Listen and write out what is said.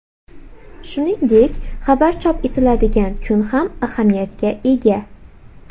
Shuningdek, xabar chop etiladigan kun ham ahamiyatga ega.